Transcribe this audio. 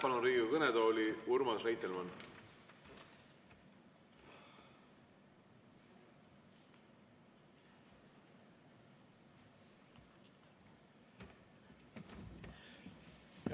Palun Riigikogu kõnetooli Urmas Reitelmanni!